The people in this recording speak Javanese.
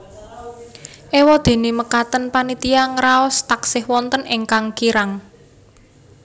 Éwadéné mekaten panitia ngraos taksih wonten ingkang kirang